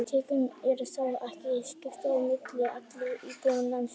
Tekjum er þó ekki jafnt skipt á milli allra íbúa landsins.